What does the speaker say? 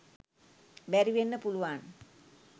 බැරිවෙන්න පුළුවන්.